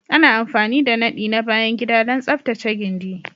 Ana amfani da nadi na bayan gida don tsaftace gindi